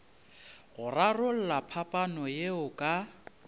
go rarolla phapano yeo ka